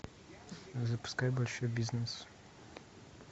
запускай большой бизнес